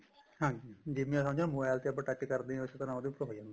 ਹਾਂਜੀ ਜਿਵੇਂ ਸਮਝੋ mobile ਤੇ ਆਪਾਂ touch ਕਰਦੇ ਉਸੀ ਤਰ੍ਹਾਂ ਉਹਦੇ ਉੱਪਰ ਹੋ ਜਾਂਦਾ